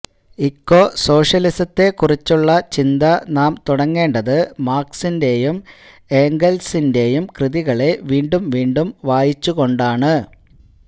ഇക്കോസോഷ്യലിസത്തെക്കുറിച്ചുള്ള ചിന്ത നാം തുടങ്ങേണ്ടത് മാർക്സിന്റെയും ഏംഗൽസിന്റെയും കൃതികളെ വീണ്ടും വീണ്ടും വായിച്ചുകൊണ്ടാണ്